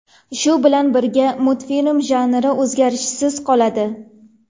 Shu bilan birga multfilm janri o‘zgarishsiz qoladi.